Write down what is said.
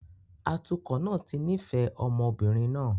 Atukọ̀ náà ti nífẹ̀ẹ́ ọmọ obìnrin náà